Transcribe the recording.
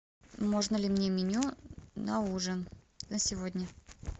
можно ли мне меню на ужин на сегодня